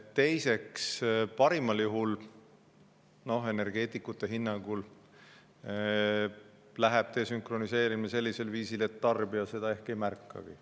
Teiseks, energeetikute hinnangul tehakse desünkroniseerimine parimal juhul sellisel viisil, et tarbija seda ehk ei märkagi.